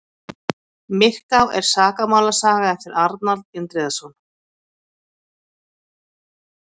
myrká er sakamálasaga eftir arnald indriðason